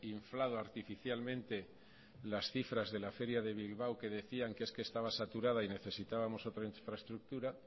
inflado artificialmente las cifras de la feria de bilbao que decían que es que estaba saturada y necesitábamos otra infraestructura